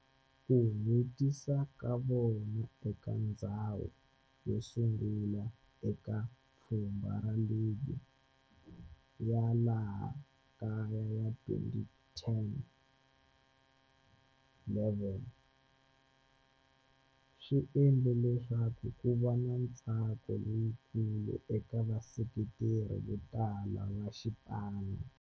Ku hetisa ka vona eka ndzhawu yosungula eka pfhumba ra ligi ya laha kaya ya 2010-11 swi endle leswaku kuva na ntsako lowukulu eka vaseketeri votala va xipano.